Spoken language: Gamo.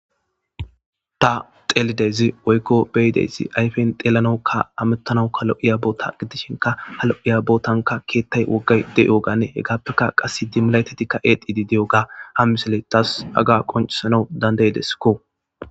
Ta xelidezi woykko beyideesi ayfen deelanoukka amettanawuka lo'iya boota giddishinka halo'iya bootanka keettay woggay de7oganne he gaappeka qass dimilayetatikka exidi de'o ga ham misele xaas aga qoncisanau dandaydeskko.